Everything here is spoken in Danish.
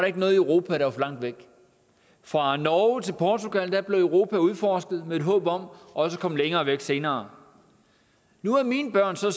ikke noget i europa der var for langt væk fra norge til portugal blev europa udforsket med et håb om også at komme længere væk senere nu er mine børn så